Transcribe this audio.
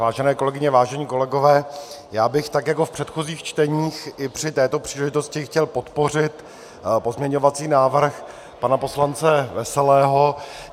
Vážené kolegyně, vážení kolegové, já bych tak jako v předchozích čteních i při této příležitosti chtěl podpořit pozměňovací návrh pana poslance Veselého.